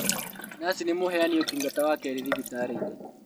Naci nĩ mũheani ũtungata wa keri thibitarĩ-inĩ